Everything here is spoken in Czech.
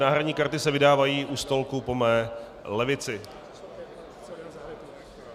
Náhradní karty se vydávají u stolku po mé levici.